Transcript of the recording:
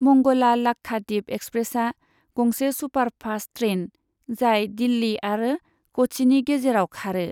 मंगला लाक्षाद्वीप एक्सप्रेसआ गंसे superfast train, जाय दिल्ली आरो क'च्चिनि गेजेराव खारो।